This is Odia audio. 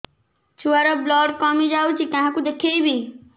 ଛୁଆ ର ବ୍ଲଡ଼ କମି ଯାଉଛି କାହାକୁ ଦେଖେଇବି